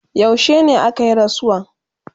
yaushene akayi rasuwar?